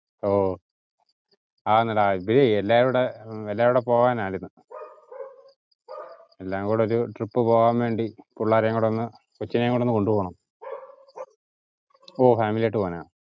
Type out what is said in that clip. ഓ ആന്നെടാ എല്ലാരുടെ പോകാനായിരുന്നു. എല്ലാംകുടെ ഒരു trip പോകാൻ വേണ്ടി പിള്ളാരേം കൂടെ ഒന്ന് കൊച്ചിനേം കൂടെ ഒന്ന് കൊണ്ടുപോവണം. ഓ family ആയിട്ട് പോവാനാ.